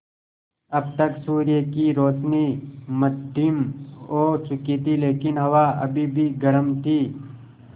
अब तक सूर्य की रोशनी मद्धिम हो चुकी थी लेकिन हवा अभी भी गर्म थी